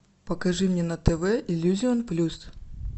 покажи мне на тв иллюзион плюс